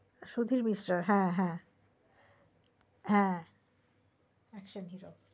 সুধীর মিশ্রার হ্যা হ্যা an action hero